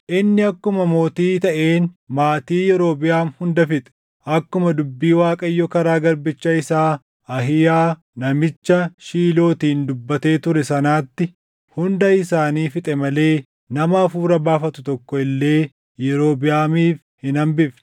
Inni akkuma mootii taʼeen maatii Yerobiʼaam hunda fixe. Akkuma dubbii Waaqayyo karaa garbicha isaa Ahiiyaa namicha Shiilootiin dubbatee ture sanaatti hunda isaanii fixe malee nama hafuura baafatu tokko illee Yerobiʼaamiif hin hambifne.